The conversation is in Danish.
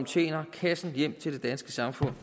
tjener kassen hjem til det danske samfund